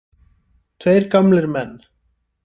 Tveir gamlir menn.